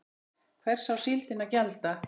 Hvers á síldin að gjalda?